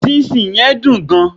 sinsin yen dun gan